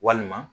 Walima